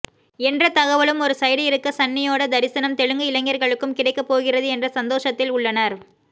என்ற தகவலும் ஒரு சைடு இருக்க சன்னியோட தரிசினம் தெலுங்கு இளைஞர்களுக்கும் கிடைக்க போகிறது என்ற சந்தோஷத்தில் உள்ளனர்